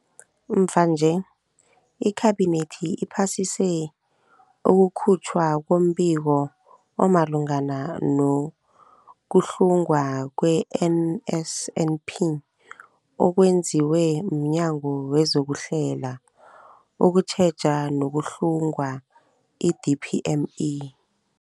Mvanje, iKhabinethi iphasise ukukhutjhwa kombiko omalungana nokuhlungwa kwe-NSNP okwenziwe mNyango wezokuHlela, ukuTjheja nokuHlunga, i-DPME.